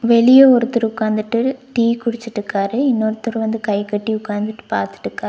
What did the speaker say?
வெளிய ஒருத்தரு உக்காந்துட்டு டீ குடிச்சிட்டுக்காரு இன்னொருத்தரு வந்து கைகட்டி உக்காந்துட்டு பாத்துட்டுக்காரு.